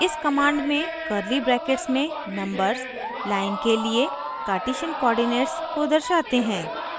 इस command में curly brackets में numbers line के लिए कारटीशन coordinates को दर्शाते हैं